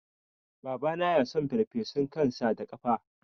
Babana yason farfesun kan sa da kafa